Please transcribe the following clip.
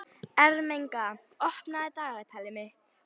Ermenga, opnaðu dagatalið mitt.